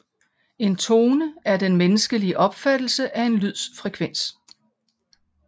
En tone er den menneskelige opfattelse af en lyds frekvens